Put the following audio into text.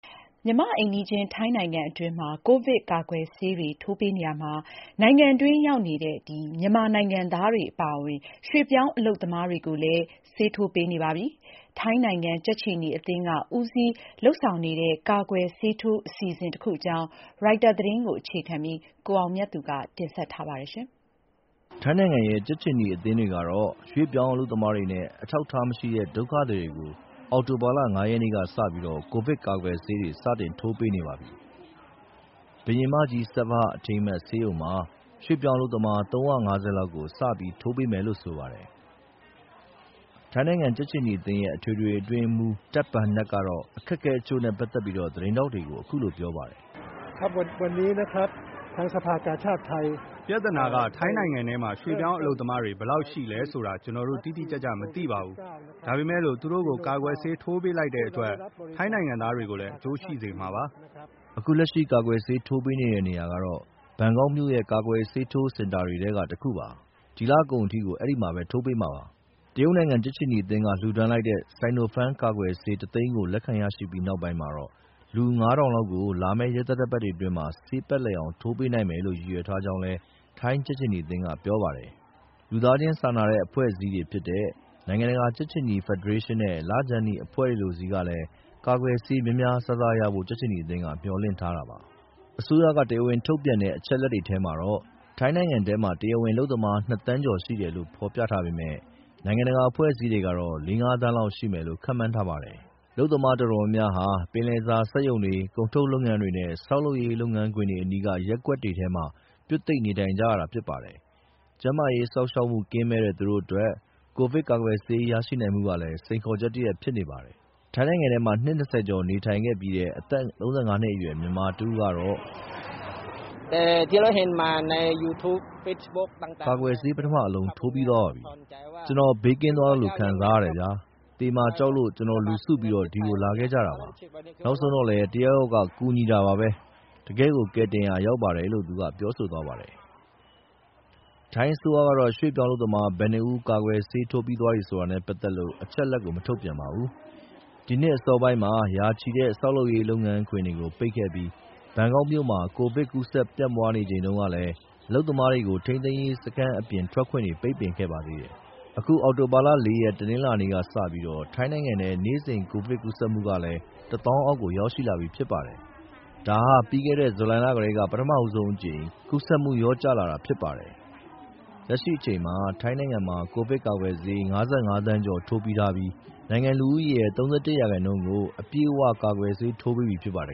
မြန်မာ့ အိမ်နီးချင်း ထိုင်းနိုင်ငံအတွင်းမှာ ကိုဗစ်ကာကွယ်ဆေးတွေ ထိုးပေးနေရာမှာ နိုင်ငံတွင်းရောက်နေတဲ့ မြန်မာနိုင်ငံသားတွေ အပါအဝင် ရွှေ့ပြောင်းအလုပ်သမားတွေကိုလည်း ဆေးထိုးပေးနေပါပြီ။ ထိုင်းနိုင်ငံ ကြက်ခြေနီအသင်းက ဦးစီးဦးဆောင်လုပ်နေတဲ့ ကာကွယ်ဆေးထိုးအစီအစဉ်တခု အကြောင်း ရိုက်တာသတင်းကို ကိုအောင်မြတ်သူပြောပြပါမယ်။ ထိုင်းနိုင်ငံရဲ့ ကြက်ခြေနီ အသင်းတွေကတော့ ရွှေ့ပြောင်းအလုပ်သမားတွေနဲ့ အထောက်အထားမရှိတဲ့ ဒုက္ခသည်တွေကို အောက်တိုဘာ ၅ ရက်နေ့ကစပြီး ကိုဗစ်ကာကာကွယ်ဆေးတွေ စတင်ထိုးပေးနေပါပြီ။ Queen Saovabha Memorial Institute ဘုရင်မကြီး Saovabha အထိမ်းအမှတ် ဆေးရုံမှာ ရွှေ့ပြောင်းအလုပ်သမား ၃၅၀ လောက်ကို စပြီးထိုးပေးမယ်လို့ဆိုပါတယ်။ ထိုင်း ကြက်ခြေနီအသင်းရဲ့ အထွေထွေအတွင်းရေးမှူး Tej Bunnag ကတော့ အခက်အခဲတချို့နဲ့ ပက်သက်ပြီး သတင်းထောက်တွေကို အခုလိုပြောပါတယ်။ “ပြဿနာက ထိုင်းနိုင်ငံထဲမှာ ရွှေ့ပြောင်းအလုပ်သမား ဘယ်လောက်ရှိလဲဆိုတာ ကျနော်တို့တိတိကျကျ မသိပါဘူး။ ဒါပေမယ့်လို့ သူတို့ကို ကာကွယ်ဆေး ထိုးပေးလိုက်တဲ့အတွက် ထိုင်းနိုင်ငံသားတွေကိုလည်း အကျိုးရှိစေမှာပါ။” အခုလက်ရှိ ကာကွယ်ဆေးထိုးပေးနေတဲ့ နေရာကတော့ ဘန်ကောက်မြို့ရဲ့ ကာကွယ်ဆေးထိုးစင်တာတွေထဲက တခုပါ။ ဒီလကုန်ထိ ဒီမှာ ထိုးပေးမှာပါ။ တရုတ်နိုင်ငံရဲ့ ကြက်ခြေနီအသင်းက လှူဒါန်းလိုက်တဲ့ Sinopharm ကာကွယ်ဆေး ၁၀၀,၀၀၀ လက်ခံရရှိပြီးနောက်ပိုင်းမှာ လူ ၅၀၀၀ လောက်ကို လာမယ့် ရက်သတ္တပတ်တွေအတွင်း ဆေးပတ်လည်အောင် ထိုးပေးနိုင်မယ်လို့ ရည်ရွယ်ထားကြောင်း ထိုင်းကြက်ခြေနီက ပြောပါတယ်။ လူသားချင်းစာနာတဲ့ အဖွဲ့အစည်းတွေဖြစ်တဲ့ နိုင်ငံတကာ ကြက်ခြေနီ ဖက်ဒရေးရှင်းနဲ့ လခြမ်းနီအဖွဲ့တွေလိုတွေဆီကလည်း ကာကွယ်ဆေးများများစားစားရဖို့ မျှော်လင့်ထားတာပါ။ အစိုးရ တရားဝင်ထုတ်ပြန်တဲ့ အချက်အလက်တွေထဲမှာတော့ ထိုင်းနိုင်ငံထဲမှာ တရားဝင်အလုပ်သမား ၂ ဒသမ ၃၅ သန်းရှိတယ်လို့ဖော်ပြထားပေမယ့် နိုင်ငံတကာအဖွဲ့အစည်းတွေကတော့ ၄ သန်း - ၅ သန်းလောက် ရှိမယ်လို့ ခန့်မှန်းထားပါတယ်။ အလုပ်သမား တော်တော်များများဟာ ပင်လယ်စာ စက်ရုံတွေ၊ ကုန်ထုတ်လုပ်ငန်းတွေ နဲ့ ဆောက်လုပ်ရေး လုပ်ငန်းခွင်တွေအနီးက ရပ်ကွက်တွေမှာ ပြွတ်သိပ်နေထိုင်ကြရပါတယ်။ ကျန်းမာရေးစောင့်ရှောက်မှု ကင်းမဲ့တဲ့ သူတို့အတွက် ကိုဗစ်ကာကွယ်ဆေး ရရှိနိုင်မှုက စိန်ခေါ်ချက်တရပ်လည်း ဖြစ်နေပါတယ်။ ထိုင်းနိုင်ငံထဲမှာ နှစ် ၂၀ ကျော်နေထိုင်ခဲ့ပြီးတဲ့ အသက် ၃၅ နှစ်အရွယ် မြန်မာတဦးကတော့ ကာကွယ်ဆေး ပထမအလုံး ထိုးပြီးသွားပါပြီ။ “ကျနော် ဘေးကင်းသွားသလို ခံစားရတယ်ဗျာ။ သေမှာကြောက်လို့ ကျနော်တို့အုပ်စုလိုက်ဒီကို လာခဲ့ကြတာပါ။ နောက်ဆုံးတော့လည်း တယောက်ယောက်က ကူညီတာပါပဲ။ တကယ့်ကို ကယ်တင်ရာရောက်ပါတယ်။” ထိုင်းအစိုးရကတော့ ရွှေ့ပြောင်းအလုပ်သမား ဘယ်နှဦးကာကွယ်ဆေး ထိုးပြီးသွားတယ်ဆိုတာနဲ့ပက်သက်လို့ အချက်အလက် မထုတ်ပြန်ပါဘူး။ ဒီနှစ်အစောပိုင်းကတော့ ရာချီတဲ့ ဆောက်လုပ်ရေး လုပ်ငန်းခွင်တွေကို ပိတ်ခဲ့ပြီး ဘန်ကောက်မြို့မှာ ကိုဗစ်စတင် ပြန့်ပွားနေချိန်တုန်းကလည်း အလုပ်သမားတွေကို ထိန်းသိမ်းရေး စခန်း အပြင်ထွက်ခွင့်တွေ ပိတ်ပင်ခဲ့ပါတယ်။ အခု အောက်တိုဘာ ၄ ရက် တနင်္လာနေ့ကစပြီး ထိုင်းနိုင်ငံထဲ နေ့စဉ် ကိုဗစ်ကူးစက်မှုဟာလည်း ၁၀,၀၀၀ အောက် ရောက်ရှိလာပြီဖြစ်ပါတယ်။ ဒါဟာ ပြီးခဲ့တဲ့ ဇူလိုင်လ လယ် ကတည်းက ပထဆုံးအကြိမ် ကူးစက်မှု လျော့ကျလာတာလည်း ဖြစ်ပါတယ်။ လက်ရှိအချိန်မှာ ထိုင်းနိုင်ငံမှာ ကိုဗစ်ကာကွယ်ဆေး ၅၅ သန်းကျော်ထိုးပြီးထားပြီး နိုင်ငံလူဦးရေရဲ့ ၃၁ ရာခိုင်နှုန်းကို အပြည့်အ၀ ကာကွယ်ဆေးထိုးပေးပြီးဖြစ်ပါတယ